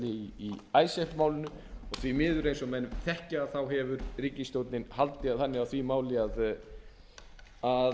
í icesave málinu og því miður eins og menn þekkja hefur ríkisstjórnin haldið þannig á því máli að